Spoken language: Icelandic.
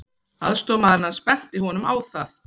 Aðstoðarmaðurinn hans benti honum á það.